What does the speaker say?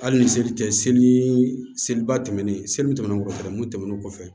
Hali ni seli tɛ seli nii seliba tɛmɛnen seli kɔfɛ mun tɛmɛnen kɔfɛ